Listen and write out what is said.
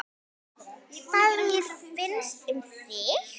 Hvað mér finnst um þig?